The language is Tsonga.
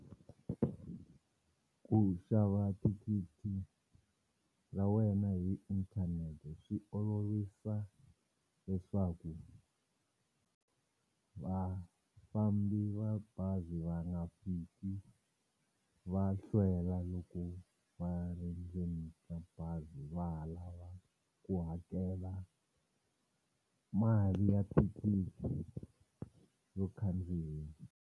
Ku xava thikithi ra wena hi inthanete swi olovisa leswaku vafambi va bazi va nga fiki va hlwela loko va ri ndzeni ka bazi va ha lava ku hakela mali ya thekisi yo khandziya.